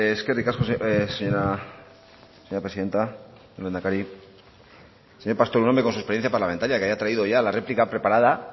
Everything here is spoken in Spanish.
eskerrik asko señora presidenta lehendakari señor pastor un hombre con su experiencia parlamentaria que haya traído ya la réplica preparada